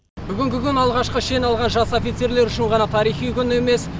бүгінгі күн алғашқы шен алған жас офицерлер үшін ғана тарихи күн емес